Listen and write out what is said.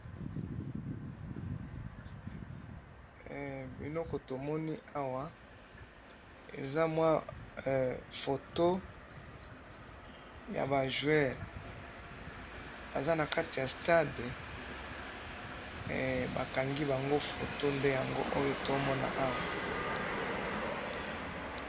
he biloko tomoni awa eza mwa foto yaba joueur baza na kati ya stade bakangi bango foto he nde tozalikomona awa